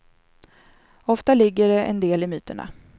Ofta ligger det en del i myterna.